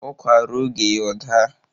Ụkwa ruo oge ya ọ daa